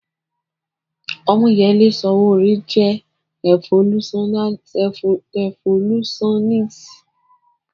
Ọmọ́yẹlé Sòwòrẹ́ jẹ́ rẹfolúsáníst